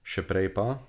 Še prej pa ...